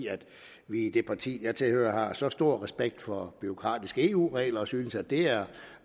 vi i det parti jeg tilhører har så stor respekt for bureaukratiske eu regler og synes at det er